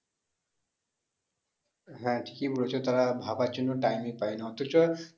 হ্যাঁ ঠিকই বলেছো তারা ভাবার জন্য time ই পায় না অথচ